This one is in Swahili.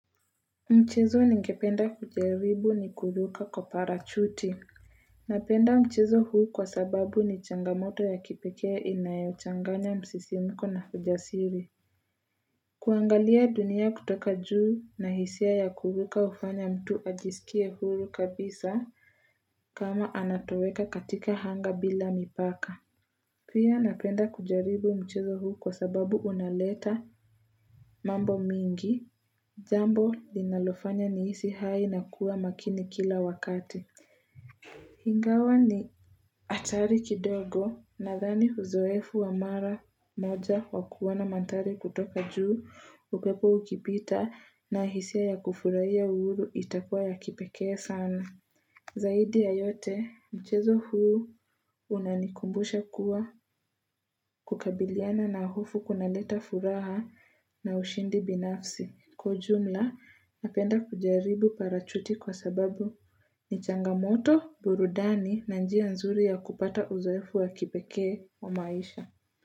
Mchezo ningependa kujaribu ni kuruka kwa parachuti Napenda mchezo huu kwa sababu ni changamoto ya kipekee inayochanganya msisimko na ujasiri kuangalia dunia kutoka juu na hisia ya kuruka ufanya mtu ajisikie huru kabisa kama anatoweka katika anga bila mipaka Pia napenda kujaribu mchezo huu kwa sababu unaleta mambo mingi Jambo linalofanya niiisi hai na kuwa makini kila wakati. Ingawa ni hatari kidogo nadhani uzoefu wa mara moja wa kuona mandhari kutoka juu. Ukwepo ukipita na hisia ya kufurahia uhuru itakuwa ya kipekee sana. Zaidi ya yote mchezo huu unanikumbusha kuwa kukabiliana na hofu kunaleta furaha na ushindi binafsi. Kwa ujumla napenda kujaribu parachuti kwa sababu ni changamoto burudani na njia nzuri ya kupata uzoefu wa kipekee wa maisha.